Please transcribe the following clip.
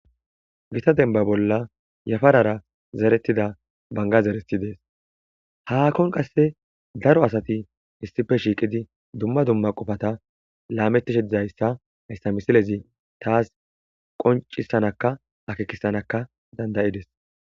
Gita denba bolla yafarara zeretida banga zereti dees haakkon qasse daro asati issife shiiqidi dumma dumma qofata laamettishe dizayssa hayssa misilezi taas qoncisanaka akeekisanaka dandayides.